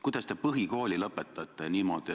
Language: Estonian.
Kuidas te põhikooli niimoodi lõpetasite?